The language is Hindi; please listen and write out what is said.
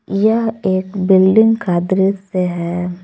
यह एक बिल्डिंग का दृश्य है।